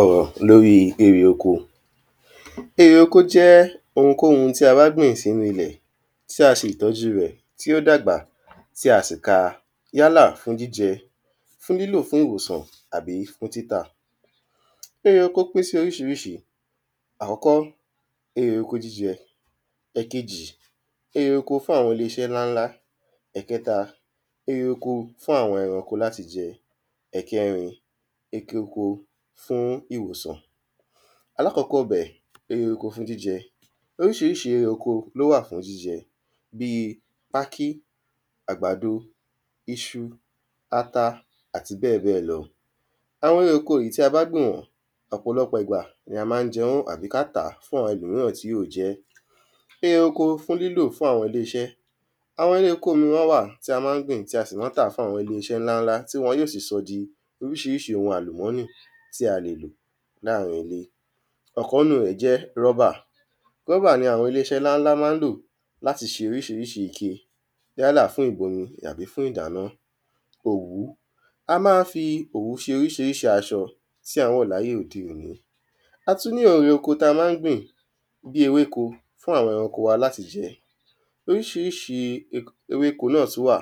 Ọ̀rọ̀ l'órí erè oko Erè oko jẹ́ ohunkóhun tí a bá gbìn s'ínú ilẹ̀ tí a ṣe ìtọ́jú rẹ̀, tí ó dàgbà, tí a sì ka yálà fún jíjẹ, fún lílò fún ìwòsàn àbí fún títà. Erè oko pín sí oríṣiríṣi. Àkọ́kọ́, erè oko jíjẹ Ẹ̀kejì, erè oko fún àwọn ilé iṣẹ́ ńláńlá Ẹ̀kẹta, erè oko fún àwọn ẹranko l'áti jẹ Ẹ̀kẹrin, ekè oko fún ìwòsàn Alákọ́kọ́ bẹ̀, erè oko fún jíjẹ. Oríṣiríṣi erè oko ló wà fún jíjẹ bí i pákí, àgbàdo, iṣu, ata àti bẹ́ẹ̀ bẹ́ẹ̀ lọ Àwọn erè oko tí a bá gbìn wọ́n, ọ̀pọlọpọ̀ ìgbà ni a má ń jẹ wọ́n àbí k’á tà fún àwọn ẹlòmíràn tí ó jẹ́ Erè oko fún lílò fún àwọn ilé iṣẹ́ Àwọn erè oko miran wà tí a má ń gbìn tí a sì má ń tà fún àwọn ilé iṣẹ́ ńláńlá tí wọn yó sì sọ́ di oríṣiríṣi ohun àlùmọ́nì tí a lè lò láàrin ilé Ọ̀kan ‘nú rẹ̀ jẹ́ rọ́bà Rọ́bà ni àwọn ilé iṣẹ́ ńláńlá má ń lò l'áti ṣe oríṣiríṣi ike yálà fún ìbomi àbí fún ìdáná Òwú A má fi òwú ṣe oríṣiríṣi aṣọ tí à ń wọ̀ l'áyé òde òní A tú ni erè oko tí a má ń gbìn bí ewéko fún àwọn ẹranko l'áti jẹ Oríṣiríṣi ewéko náà tú wà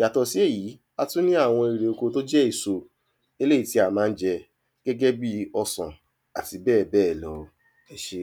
Yàtọ̀ sí èyí, a tú ní àwọn erè oko t'ó jẹ́ èso. Eléyí tí a má ń jẹ gẹ́gẹ́ bí ọsàn àti bẹ́ẹ̀ bẹ́ẹ̀ lọ. Ẹ ṣé.